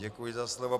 Děkuji za slovo.